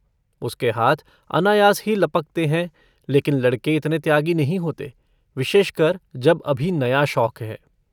उसके हाथ अनायास ही लपकते हैं लेकिन लड़के इतने त्यागी नहीं होते विशेषकर जब अभी नया शौक है।